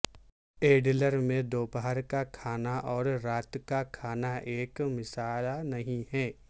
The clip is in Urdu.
ایڈلر میں دوپہر کا کھانا اور رات کا کھانا ایک مسئلہ نہیں ہے